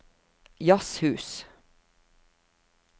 jazzhus